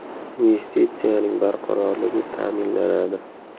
Investitsiyaning barqarorligi ta’minlanadi.